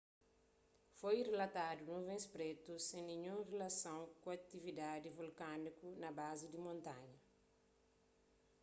foi rilatadu nuvens prétu sen ninhun rilason ku atividadi vulkániku na bazi di montanha